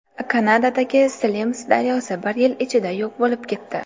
Kanadadagi Slims daryosi bir yil ichida yo‘q bo‘lib ketdi.